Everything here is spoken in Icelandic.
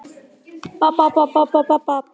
Bara hvítur smábíll fyrir framan bílskúrinn!